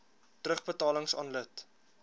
terugbetalings aan lid